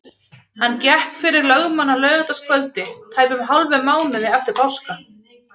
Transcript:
Hann gekk fyrir lögmann á laugardagskvöldi, tæpum hálfum mánuði eftir páska.